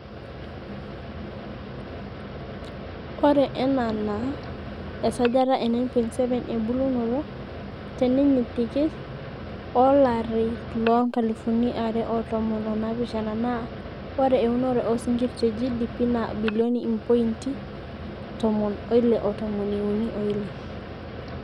Ore ena naa esajata e 9.7 ebulunoto tenintinyik o olari loo nkalifuni are o tomon o naapishana naa ore eunore oosnkir te GDP naa bilioni impointi tomon oile o tomon iuni oile.